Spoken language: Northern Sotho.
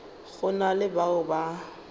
go na le bao ba